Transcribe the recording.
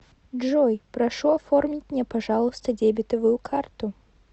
джой прошу оформить мне пожалуйста дебетовую карту